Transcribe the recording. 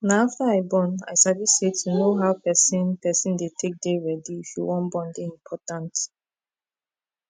na after i born i sabi say to know how person person dey take dey ready if you wan born dey important